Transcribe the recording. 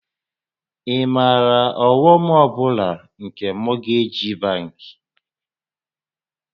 Ị maara ọghọm ọ bụla nke mọgeeji bankị?